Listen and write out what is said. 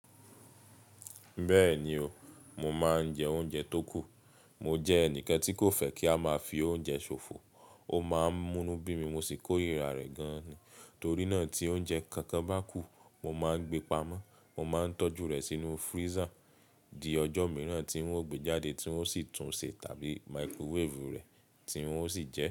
Bẹ́ẹ̀ni o, mo máa ń jẹ oúnjẹ tó kù. Mo jẹ́ ẹnìkan tí kò fẹ́ kí a máa fi oúnjẹ ṣòfò. Ó máa ń mú inu bí mi mo sì kórira gan ni, torí náà tí oúnjẹ kankan bá kù mo máa ń gbe pamọ́. Mo máa ń tọ́jú rẹ̀ sínú freezer di ọjọ́ mìíràn tí ń ó gbe jáde tí ń ó sì tún ṣe tàbí microwave rẹ̀ tí ń ó sì jẹ.